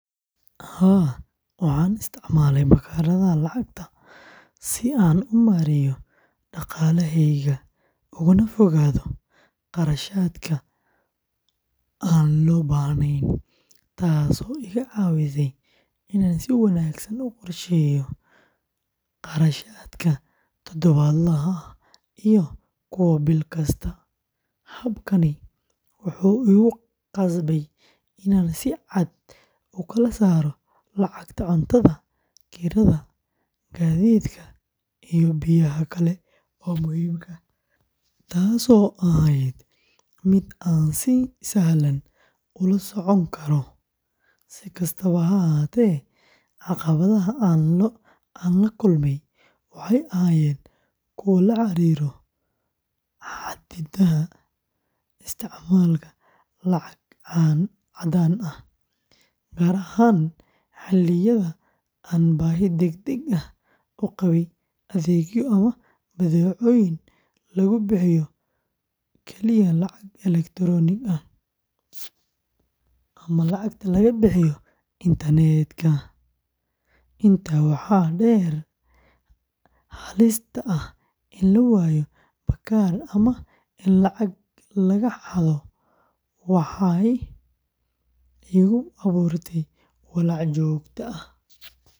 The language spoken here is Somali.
Haa, waxaan isticmaalay baakadaha lacagta si aan u maareeyo dhaqaalahayga ugana fogaado kharashaadka aan loo baahnayn, taasoo iga caawisay inaan si wanaagsan u qorsheeyo kharashaadka todobaadlaha ah iyo kuwa bil kasta. Habkaani wuxuu igu qasbay inaan si cad u kala saaro lacagta cuntada, kirada, gaadiidka, iyo baahiyaha kale ee muhiimka ah, taasoo ahayd mid aan si sahlan ula socon karo. Si kastaba ha ahaatee, caqabadaha aan la kulmay waxay ahaayeen kuwo la xiriiray xaddidaadda isticmaalka lacag caddaan ah, gaar ahaan xilliyada aan baahi degdeg ah u qabay adeegyo ama badeecooyin lagu bixiyo kaliya lacag elektaroonik ah, ama lacagaha laga bixiyo internetka. Intaa waxaa dheer, halista ah in la waayo baakad ama in lacag laga xado waxay igu abuurtay walaac joogto ah.